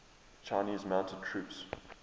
chinese mounted troops